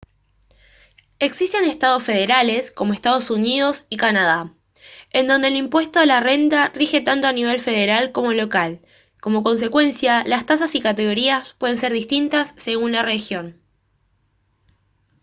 existen estados federales como estados unidos y canadá en donde el impuesto a la renta rige tanto a nivel federal como local como consecuencia las tasas y categorías pueden ser distintas según la región